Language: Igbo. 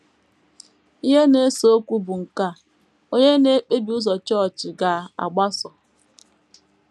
Ihe na - ese okwu bụ nke a: Ònye na -- ekpebi ụzọ chọọchị ga - agbaso...